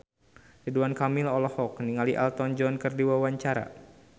Ridwan Kamil olohok ningali Elton John keur diwawancara